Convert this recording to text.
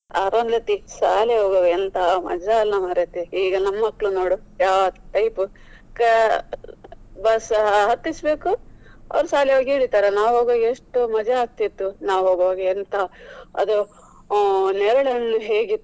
ಅರುಂಧತ್ತಿ ಶಾಲೆಗೆ ಹೋಗ್ವಾಗ ಎಂಥಾ ಮಜಾ ಅಲ್ಲ ಮಾರೇತಿ. ಈಗ ನಮ್ ಮಕ್ಕ್ಳು ನೋಡು ಯಾವ್ದು type ಅಹ್ bus ಹತ್ತಿಸ್ಬೇಕು ಅವ್ರು ಶಾಲೆಗೆ ಹೋಗಿ ಇಳಿತಾರೆ. ನಾವು ಹೋಗ್ವಾಗ ಎಷ್ಟು ಮಜಾ ಆಗ್ತಿತ್ತು ನಾವು ಹೋಗ್ವಾಗ ಎಂಥ ಅದು ನೇರಳೆ ಹಣ್ಣು ಹೇಗೆ ಇತ್ತಾ.